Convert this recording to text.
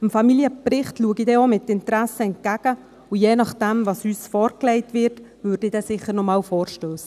Dem Familienbericht schaue ich mit Interesse entgegen, und je nach dem, was uns vorgelegt wird, würde ich dann sicher noch einmal vorstössig.